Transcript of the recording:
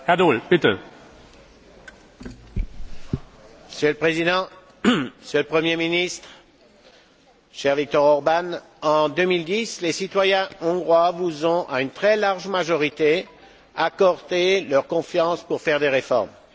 Monsieur le Président, Monsieur le Premier ministre, cher Viktor Orbán, en 2010, les citoyens hongrois vous ont, à une très large majorité, accordé leur confiance pour faire des réformes. Vous avez alors pris les rênes d'un pays en mauvais état,